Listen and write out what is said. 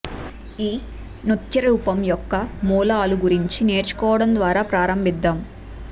ఈ నృత్య రూపం యొక్క మూలాలు గురించి నేర్చుకోవడం ద్వారా ప్రారంభిద్దాం